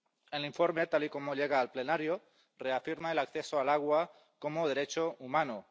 El informe tal y como llega al plenario reafirma el acceso al agua como derecho humano.